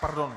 Pardon.